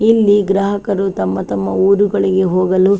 ಇಲ್ಲಿ ಗ್ರಾಹಕರು ತಮ್ಮ ತಮ್ಮ ಊರುಗಳಿಗೆ ಹೋಗಲು --